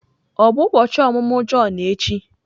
Ọ bụ ụbọchị ọmụmụ Jọn echi?